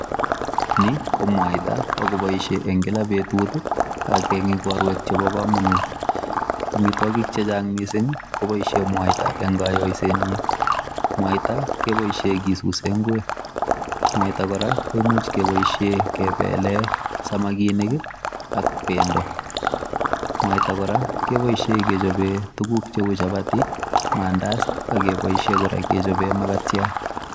Ni ko mwaita ago boishe en kila betut. Ak en igorwek chebo komonut. Amun amitwogik che chang mising koboishen mwaita en koyoisenyin. Mwaita keboisien kesuuse ngwek. Mwaita kora koimuch keboishe kebelen samakinik ak bendo. Mwaita kora keboishen kechoben tuguk cheu chapati, maandazi, ak keboishen kora kechopen magatiat.